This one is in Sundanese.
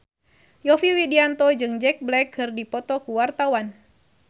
Yovie Widianto jeung Jack Black keur dipoto ku wartawan